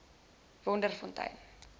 wonderfontein